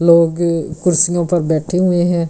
लोग कुर्सियों पर बैठे हुए हैं।